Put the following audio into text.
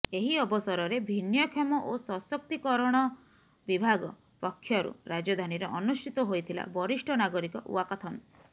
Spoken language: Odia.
ଏହି ଅବସରରେ ଭିନ୍ନକ୍ଷମ ଓ ସଶକ୍ତିକରଣଶ ବିଭାଗ ପକ୍ଷରୁ ରାଜଧାନୀରେ ଅନୁଷ୍ଠିତ ହୋଇଥିଲା ବରିଷ୍ଠ ନାଗରିକ ଓ୍ବାକାଥନ